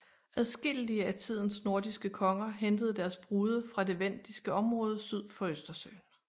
Adskillige af tidens nordiske konger hentede deres brude fra det vendiske område syd for Østersøen